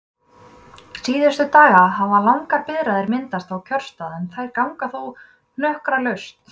Síðustu daga hafa langar biðraðir myndast á kjörstað en þær ganga þó hnökralaust.